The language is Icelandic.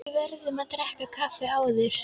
Við verðum að drekka kaffi áður.